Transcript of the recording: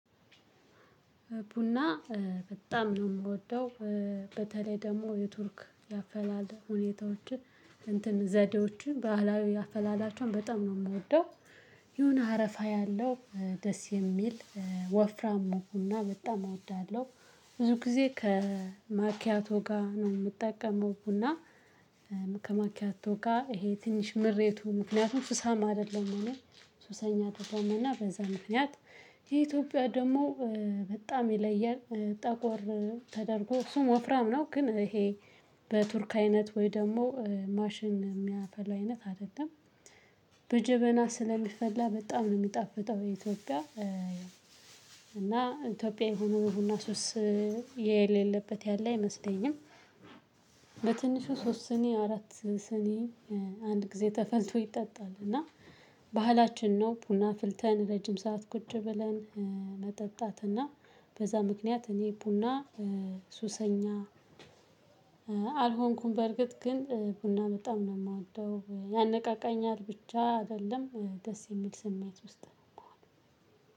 ቡና በጣም ነው የምወደው። በተለይ ደግሞ የቱርክ ያፈላል ሁኔታዎችን እንትን ዘዴዎችን ባህላዊ አፈላላቸውን በጣም ነው የምወደው። የሆነ አረፋ ያለው ደስ የሚል ወፍራም ቡና በጣም እወዳለሁ። ብዙ ጊዜ ከማኪያቶ ጋር ነው የምጠቀመው። ቡና ከማኪያቶ ጋር ይሄ ትንሽ ምሬቱ ምክንያቱም ሱሳማ አይደለሁም እኔ ሱሰኛ አይደለሁም። እና በዛ ምክንያት የኢትዮጵያ ደግሞ በጣም ይለያል ጠቆር ተደርጎ እሱም ወፍራም ነው። ግን ይሄ በቱርክ አይነት ወይ ደግሞ ማሽን የሚያፈላ አይነት አደጋም በጀበና ስለሚፈላ በጣም ነው የሚጣፍጠው። የኢትዮጵያ እና ኢትዮጵያዊ ሆኖ ቡና ሱስ የሌለበት ያለ አይመስለኝም። በትንሹ ሶስት ስኒ አራት ስኔ አንድ ጊዜ ተፈልቶ ይጠጣል። እና ባህላችን ነው ቡና አፍልተን ረጅም ሰዓት ቁጭ ብለን። መጠጣት እና በዛ ምክንያት እኔ ቡና ሱሰኛ። አልሆንኩም በርግጥ ግን ቡና በጣም ነው የምወደው። ያነቃቃኛል ብቻ አይደለም ደስ የሚል ስሜት ውስጥ ነው ከሆነው